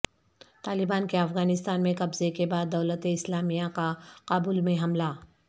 طالبان کے افغانستان میں قبضے کے بعد دولت اسلامیہ کا کابل میں حملہ